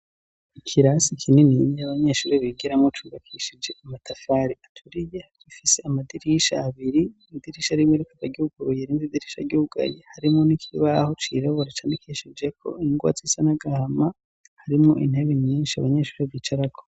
Ikirasi kinini intebe abanyeshuri bigiramo cubakishije amatafari aturiye rifise amadirisha abiri ,idirisha rimwe rkaba ry'uguruye n'inde idirisha ryugayi harimo n'ikibaho cirabura canikishije ko ingwa risa n'agahama harimo intebe nyinshi abanyeshuri bicarako.